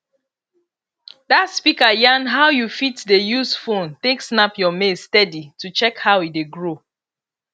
that speaker yan how you fit dey use phone take snap your maize steady to check how e dey grow